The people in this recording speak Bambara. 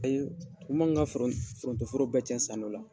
tumu y'an ka foroto foro bɛɛ cɛn san dɔ la.